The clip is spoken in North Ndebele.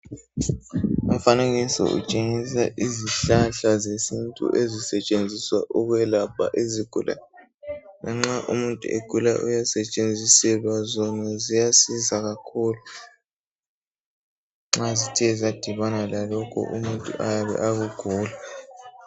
Umfanekiso utshengisa izihlahla zesintu ezisetshenziswa ukwelapha izigulane. Lanxa umuntu egula uyasetshenziselwa zona ziyasiza kakhulu, nxa zithe zadibana lalokhu umuntu ayabe akugula.